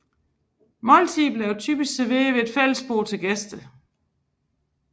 Måltider blev typisk serveret ved et fællesbord til gæster